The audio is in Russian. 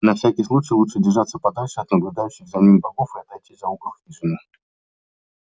на всякий случай лучше держаться подальше от наблюдающих за ним богов и отойти за угол хижины